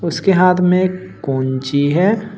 उसके हाथ में एक काँची है।